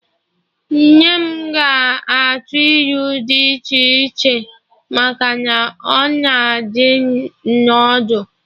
Nne m ga-atụ ilu dị iche iche echi maka na ọ na adụ m ọdụ